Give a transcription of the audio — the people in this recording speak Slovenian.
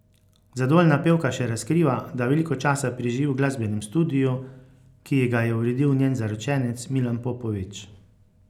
Zadovoljna pevka še razkriva, da veliko časa preživi v glasbenem studiu, ki ji ga je uredil njen zaročenec Milan Popović.